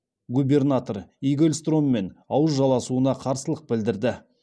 губернатор игельстроммен ауыз жаласуына қарсылық білдірді